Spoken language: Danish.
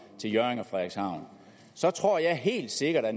til hjørring og frederikshavn så tror jeg helt sikkert at